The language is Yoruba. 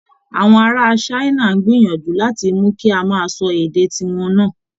Àwọn ará China ń gbìyànjú láti mú kí a máa sọ èdè ti wọn náà